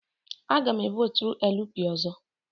Aga m e votụrụ LP ọzọ.